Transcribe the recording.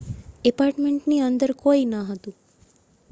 ઍપાર્ટમેન્ટની અંદર કોઈ ન હતું